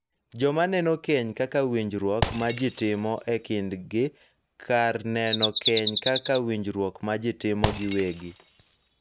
Joma neno keny kaka winjruok ma ji timo e kindgi kar neno keny kaka winjruok ma ji timo giwegi.